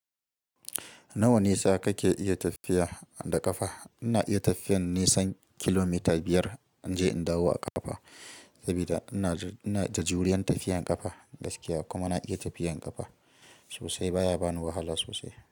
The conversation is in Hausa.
Nawa nisa kake iya tafiya da ƙafa? Ina iya tafiyan nisan kilomita biyar in je in dawo a ƙafa, saboda ina da juriyan tafiyan ƙafa gaskiya kuma na iya tafiyan ƙafa sosai baya bani wahala sosai.